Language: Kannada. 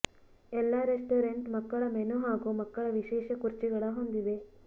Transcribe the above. ಎಲ್ಲಾ ರೆಸ್ಟೋರೆಂಟ್ ಮಕ್ಕಳ ಮೆನು ಹಾಗೂ ಮಕ್ಕಳ ವಿಶೇಷ ಕುರ್ಚಿಗಳ ಹೊಂದಿವೆ